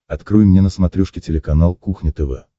открой мне на смотрешке телеканал кухня тв